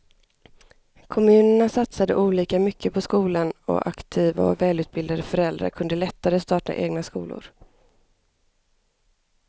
Kommunerna satsade olika mycket på skolan och aktiva och välutbildade föräldrar kunde lättare starta egna skolor.